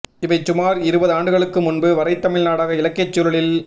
இவை சுமார் இருபது ஆண்டுகளுக்கு முன்பு வரை தமிழ் நாடக இலக்கியச் சூழலில்